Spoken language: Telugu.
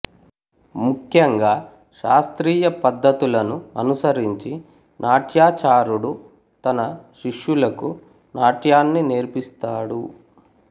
ముఖ్యంగా శాస్త్రీయ పద్ధతులను అనుసరించి నాట్యాచారుడు తన శిష్యులకు నాట్యాన్ని నేర్పిస్తాడు